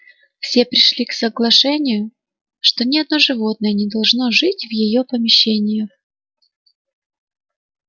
все пришли к соглашению что ни одно животное не должно жить в её помещениях